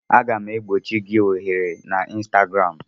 Aga m egbochi gị ohere na Ịnstagram